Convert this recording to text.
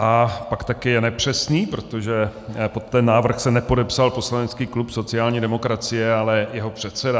A pak také je nepřesný, protože pod ten návrh se nepodepsal poslanecký klub sociální demokracie, ale jeho předseda.